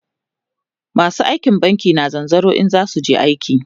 masu aiki a banki na zanzaro in zasuje aiki